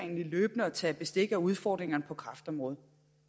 at tage løbende bestik af udfordringerne på kræftområdet